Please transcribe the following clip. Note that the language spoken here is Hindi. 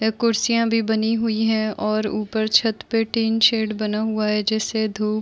अ कुर्सियाँ भी बनी हुई हैं और ऊपर छत पे टीन शेड बना हुआ है जिससे धूप --